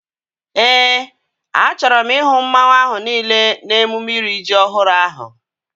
Éè, a chọrọ m ihu mmanwu ahu niile n'emume iri ji ọhụrụ ahu